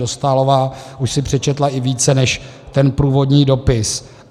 Dostálová už si přečetla i více než ten průvodní dopis.